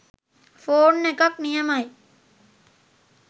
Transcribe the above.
Phone එකක් නියමයි.